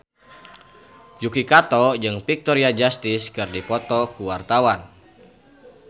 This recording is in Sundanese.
Yuki Kato jeung Victoria Justice keur dipoto ku wartawan